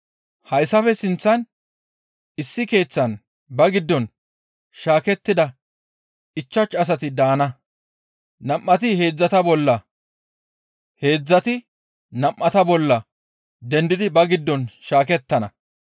Hayssafe sinththan issi keeththan ba giddon shaakettida ichchashu asati daana. Nam7ati heedzdzata bolla heedzdzati nam7ata bolla dendidi ba giddon shaakettana.